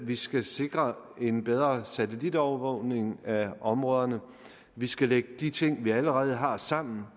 vi skal sikre en bedre satellitovervågning af områderne vi skal lægge de ting vi allerede har sammen